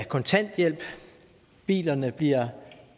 kontanthjælp bilerne bliver